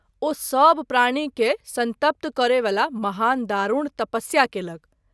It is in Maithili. ओ सभ प्राणी के संतप्त करय वला महान दारूण तपस्या केलक।